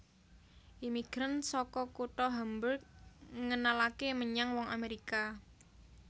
Imigran saka kutha Hamburg ngenalaké menyang wong Amèrika